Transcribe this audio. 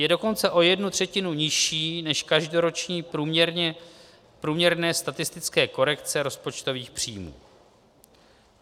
Je dokonce o jednu třetinu nižší než každoroční průměrné statistické korekce rozpočtových příjmů.